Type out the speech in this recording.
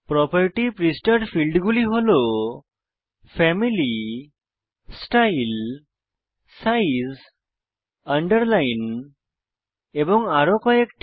property পৃষ্ঠার ফীল্ডগুলি হল ফ্যামিলি স্টাইল সাইজ Underlineএবং আরো কয়েকটি